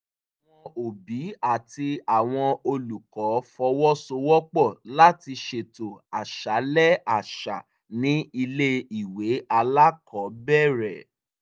àwọn òbí àti àwọn olùkọ́ fọwọ́sowọ́pọ̀ láti ṣètò àṣálẹ́ àṣà ní ilé ìwé alákọ̀ọ́bẹ̀rẹ̀